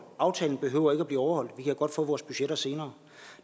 aftalen behøver ikke blive overholdt og vi kan godt få vores budgetter senere